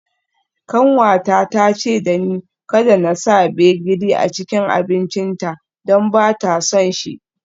Kanwata ta ce da ni kada in sa gbegírí a cikin abincinta don ba ta son shi.